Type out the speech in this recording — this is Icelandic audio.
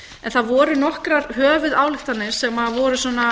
en það voru nokkrar höfuðályktanir sem voru svona